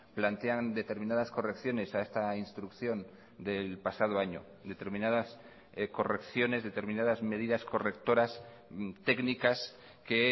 plantean determinadas correcciones a esta instrucción del pasado año determinadas correcciones determinadas medidas correctoras técnicas que